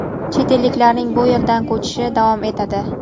chet elliklarning bu yerdan ko‘chishi davom etadi.